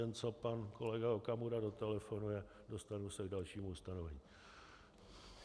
Jen co pan kolega Okamura dotelefonuje, dostanu se k dalšímu ustanovení.